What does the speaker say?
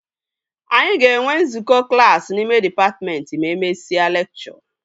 Anyị ga-enwe nzukọ klassi n'ime dịpatmentị ma e mesịa lekchọ